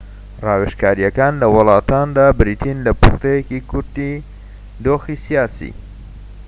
ڕاوێژکاریەکان لە وڵاتاندا بریتین لە پوختەیەکی کورتی دۆخی سیاسی